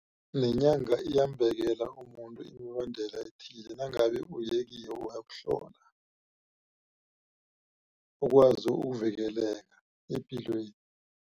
Nenyanga iyambekela umuntu imibandela ethile nangabe uye kiyo wayokuhlola ukwazi ukuvikeleka epilweni.